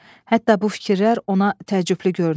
Hətta bu fikirlər ona təəccüblü görünür.